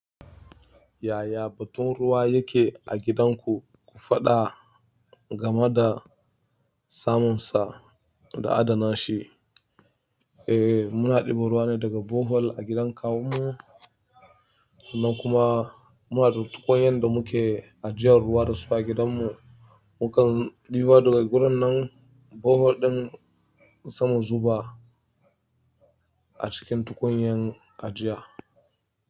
Yaya batun ruwa yake a gidanku? Ku faɗa game da samunsa da adana shi. Eh, muna ɗibo ruwa daga borehole a gidan kawunmu. Sannan kuma muna da tukunyan da muke ajiyan ruwa dasu a gidanmu mun kan ɗiba ruwa daga gurin nan bohol ɗin sai mu zuba a cikin tukunyar ajiya.